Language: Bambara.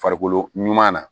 Farikolo ɲuman na